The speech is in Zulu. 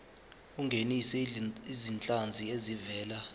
ungenise izinhlanzi ezivela